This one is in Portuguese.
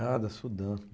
Ah, da Sudan.